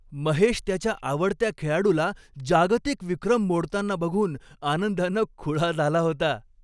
महेश त्याच्या आवडत्या खेळाडूला जागतिक विक्रम मोडताना बघून आनंदानं खुळा झाला होता.